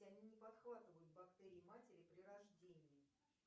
они не подхватывают бактерии матери при рождении